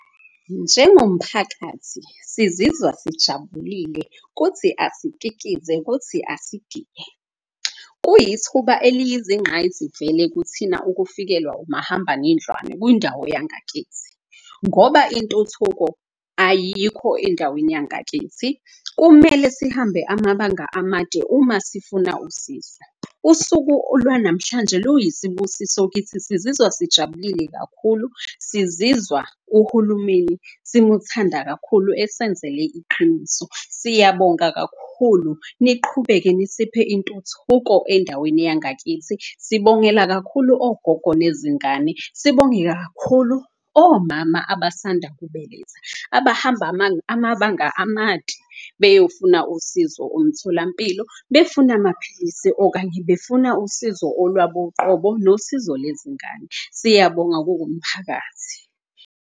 Njengomphakathi sizizwa sijabulile, kuthi asikikize kuthi asigiye. Kuyithuba eliyizinqayizivele kuthina ukufikelwa umahambanendlwane kundawo yangakithi. Ngoba intuthuko ayikho endaweni yangakithi, kumele sihambe amabanga amade uma sifuna usizo. Usuku olwanamhlanje luyisibusiso kithi sizizwa sijabulile kakhulu. Sizizwa uhulumeni simuthanda kakhulu esenzele iqiniso. Siyabonga kakhulu, niqhubeke nisiphe intuthuko endaweni yangakithi, sikubongela kakhulu ogogo nezingane. Sibonge kakhulu omama abasanda kubeletha, abahamba amabanga amade beyofuna usizo omtholampilo. Befuna amaphilisi okanye befuna usizo olwabo uqobo nosizo lezingane. Siyabonga kukumphakathi.